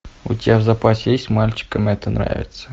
у тебя в запасе есть мальчикам это нравится